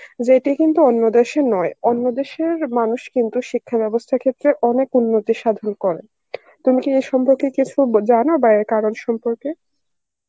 যেটি কিন্তু অন্য দেশের নয় অন্য দেশের মানুষ কিন্তু শিক্ষা ব্যবস্থার ক্ষেত্রে অনেক উন্নতি করেন তুমি কি এ সম্পর্কে কিছু জানো বা এ কারণ সম্পর্কে?